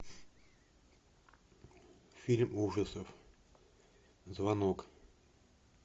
фильм ужасов звонок